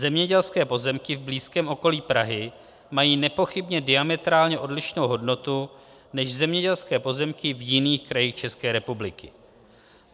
Zemědělské pozemky v blízkém okolí Prahy mají nepochybně diametrálně odlišnou hodnotu než zemědělské pozemky v jiných krajích České republiky.